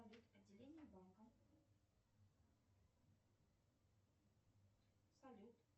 отделение банка салют